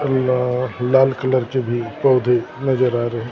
लाल colour के भी पौधे नजर आ रहे है।